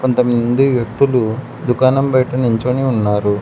కొంతమంది వ్యక్తులు దుకాణం బయట నించొని ఉన్నారు.